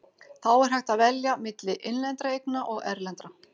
Þá er hægt að velja milli innlendra eigna og erlendra.